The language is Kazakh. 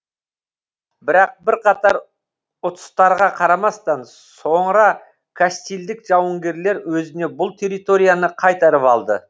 бірақ бірқатар ұтыстарға қарамастан соңыра кастильдік жауынгерлер өзіне бұл территорияны қайтарып алды